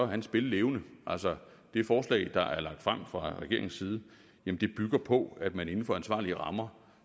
han spillevende altså det forslag der er lagt frem fra regeringens side bygger på at man inden for ansvarlige rammer